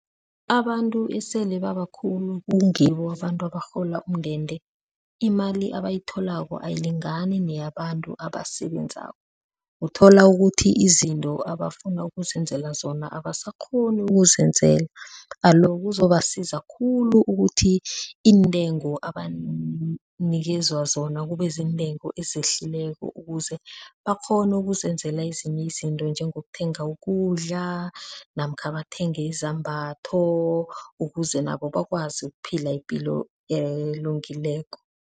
Abantu esele babakhulu kungibo abantu abarhola umndende, imali abayitholako ayilingani neyabantu abasebenzako, uthola ukuthi izinto abafuna ukuzenzela zona abasakghoni ukuzenzela alo, kuzobasiza khulu ukuthi iintengo abanikezwa zona kube ziintengo ezihlikileko ukuze bakghone ukuzenzela ezinye izinto njengokuthenga ukudla, namkha bathenge izambatho, ukuze nabo bakwazi ukuphila ipilo elungileko.